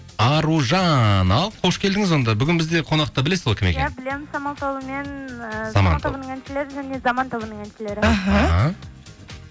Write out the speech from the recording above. аружан ал қош келдіңіз онда бүгін бізде қонақта білесіз ғой кім екенін иә білемін самал тобы мен әншілері және заман тобының әншілері іхі